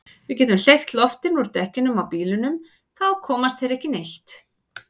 Við getum hleypt loftinu úr dekkjunum á bílnum. þá komast þeir ekkert.